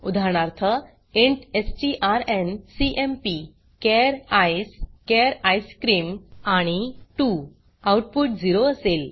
उदाहरणार्थ इंट strncmpचार ईसीई चार आयसक्रीम आणि 2 आउटपुट 0 असेल